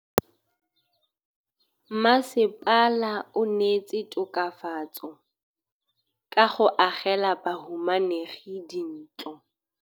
Mmasepala o neetse tokafatsô ka go agela bahumanegi dintlo.